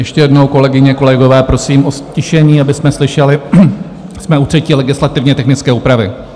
Ještě jednou, kolegyně, kolegové, prosím o ztišení, abychom slyšeli, jsme u třetí legislativně technické úpravy.